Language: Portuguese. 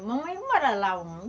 Mamãe,